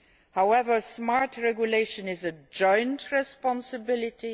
However, smart regulation is a joint responsiblity.